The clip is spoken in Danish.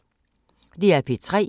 DR P3